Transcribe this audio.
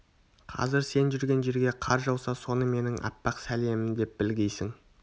қазір сен жүрген жерге қар жауса соны менің аппақ сәлемім деп білгейсің